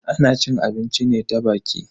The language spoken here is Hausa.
Ana cin abinci ne ta baki.